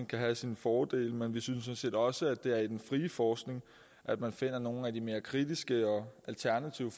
kan have sine fordele men vi synes sådan set også at det er i den frie forskning man finder nogle af de mere kritiske og alternative